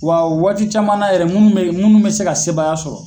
Wa waati caman na yɛrɛ minnu be yen minnu bɛ se ka sebayaya sɔrɔ.